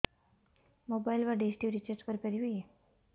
mobile ବା dish TV recharge କରି ପାରିବି